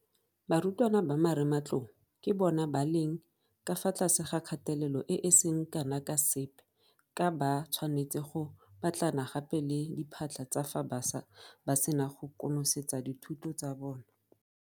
Barutwana ba Marematlou ke bona ba leng ka fa tlase ga kgatelelo e e seng kana ka sepe ka ba tshwanetse go batlana gape le diphatlha tsa fa ba sena go konosetsa dithuto tsa bona.